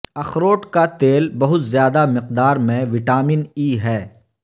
اخروٹ کا تیل بہت زیادہ مقدار میں وٹامن ای ہے